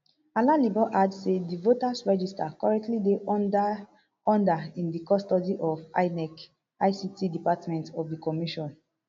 alalibo add say di voters register currently dey under in di custody of inec ict department of di commission